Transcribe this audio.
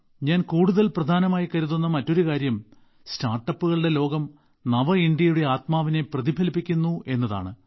ഞാൻ കൂടുതൽ പ്രധാനമായി കരുതുന്ന മറ്റൊരു കാര്യം സ്റ്റാർട്ടപ്പുകളുടെ ലോകം നവഇന്ത്യയുടെ ആത്മാവിനെ പ്രതിഫലിപ്പിക്കുന്നു എന്നതാണ്